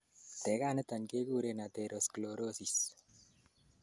teganiton kekuren atherosclerosis